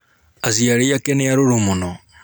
aciari ake nĩarũrũ mũno.